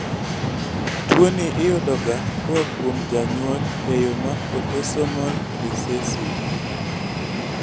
tuwoni iyudoga koa kuom janyuol e yoo ma autosomal recessive